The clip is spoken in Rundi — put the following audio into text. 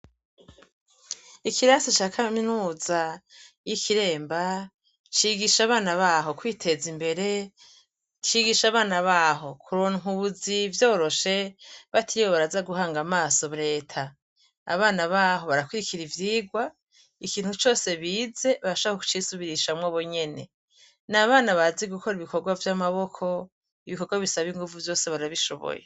Ikirasi ca Kaminuza y'Ikiremba cigisha Abana baho kwiteza imbere, cigisha Abana baho kuronka ubuzi vyoroshe, batiriwe kuja guhanga amaso Reta. Abana baho barakurikira ivyigwa, ikintu cose bize barashobora kucisubirishamwo Bonyene. N'Abana bazi gukora ibikorwa vy'Amaboko, ibikorwa bisaba inguvu vyose barabishoboye.